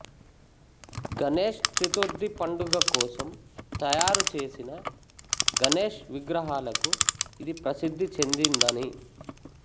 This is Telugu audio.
గణేష్ చతుర్థి పండుగ కోసం తయారుచేసిన గణేష్ విగ్రహాలకు ఇది ప్రసిద్ది చెందిందని